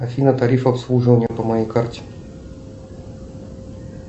афина тариф обслуживания по моей карте